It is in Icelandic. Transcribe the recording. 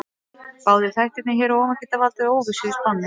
Báðir þættirnir hér að ofan geta valdið óvissu í spánni.